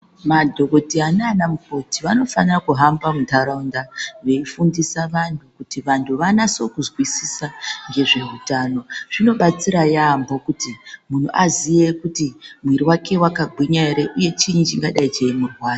Madhokotheya naana mukoti vanofanira kuhamba muntharaunda veifundisa vanthu kuti vanthu vanase kuzwisisa ngezveutano. Zvinobatsira yaampho kuti munhu aziye kuti mwiri wake wakgwinya ere uye chiinyi chingadai cheimurwadza.